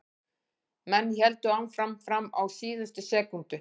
Menn héldu áfram fram á síðustu sekúndu.